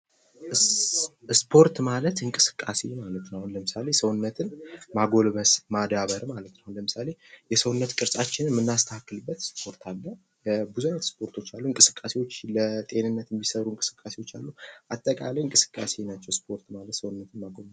ስፖርት ማለት እንቅስቃሴ ማለት ነው አሁን ለምሳሌ ሰውነትን ማጎልመስ ማዳበር ማለት ነው። አሁን ለምሳሌ የሰውነት ቅርጻችንን የምናስተካክልበት ስፖርት አለ ብዙ አይነት ስፖርቶችን አሉ። እንቅስቃሴዎች ለጤንነት የሚሰሩ እንቅስቃሴዎች አሉ አጠቃላይ እንቅስቃሴ ናቸው ስፖርት ማለት ሰውነትን ማጎልበት ነው።